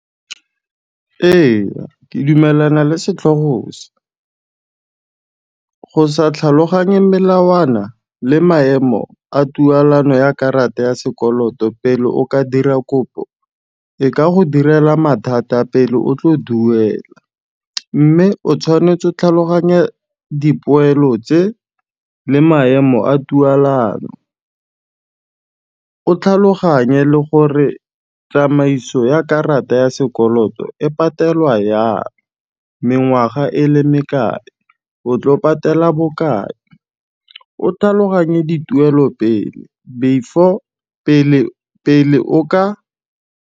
Eya, ke dumelana le setlhogo se. Go sa tlhaloganye melawana le maemo a tualano ya karata ya sekoloto pele o ka dira kopo, e ka go direla mathata pele o tlo duela, mme o tshwanetse 'o tlhaloganya dipoelo tse le maemo a tualano, o tlhaloganye le gore tsamaiso ya karata ya sekoloto e patelwa yang, mengwaga e le mekae, o tlo patela bokae, o tlhaloganye dituelo pele, before .